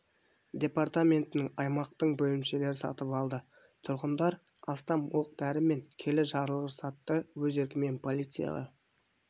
департаментінің аймақтың бөлімшелері сатып алды тұрғындар астам оқ-дәрі мен келі жарылғыш затты өз еркімен полицияға